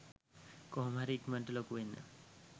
කොහොමහරි ඉක්මණට ලොකු වෙන්න.